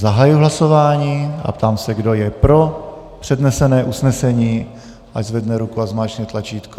Zahajuji hlasování a ptám se, kdo je pro přednesené usnesení, ať zvedne ruku a zmáčkne tlačítko.